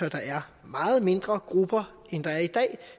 at der er meget mindre grupper end der er i dag